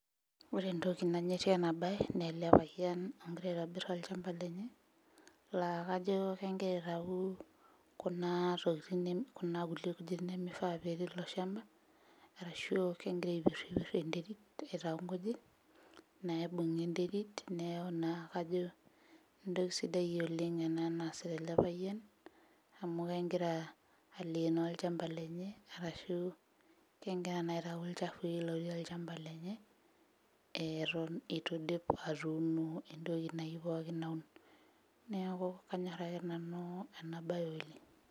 ore entoki nanyorrie ena baye nele payian ogira aitobirr olchamba lenye laa kajo kengira aitau kuna tokiting kuna kulie kujit nemifaa petii ilo shamba arashu kengira aipirrpir enterit aitau inkujit naibung'a enterit neeku naa kajo entoki sidai oleng ena naasita ele payian amu kengira alenoo olchamba lenye arashu kengira naa aitau ilchafui lotii olchamba lenye eh eton itu idip atuuno entoki nayieu pookin naun neeku kanyorr ake nanu ena baye oleng.